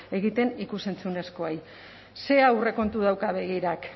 egiten ikus entzunezkoei zer aurrekontu dauka begirak